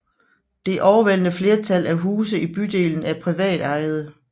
Det overvældende flertal af huse i bydelen er privatejede